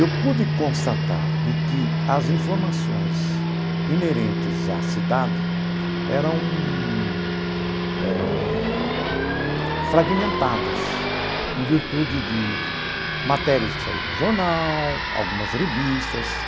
Eu pude constatar de que as informações inerentes à cidade eram eh fragmentadas em virtude de matérias que saíram do jornal, algumas revistas.